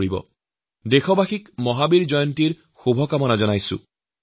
সকলো দেশবাসীকে মই মহাবীৰ জয়ন্তীৰ শুভেচ্ছা জনাইছো